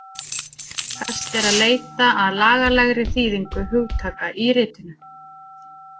Best er að leita að lagalegri þýðingu hugtaka í ritinu